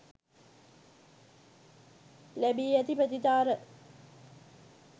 ලැබී ඇති ප්‍රතිචාර.